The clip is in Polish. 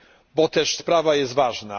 Bo też sprawa jest ważna.